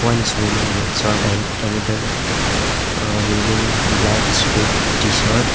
one is wearing red shirt and another uh wearing black strip t-shirt.